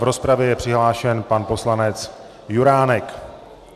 V rozpravě je přihlášen pan poslanec Juránek.